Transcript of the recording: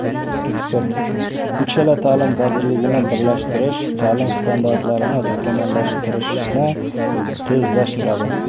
Ekspert: Uchala ta’lim vazirligini birlashtirish ta’lim standartlarini takomillashtirishni tezlashtiradi.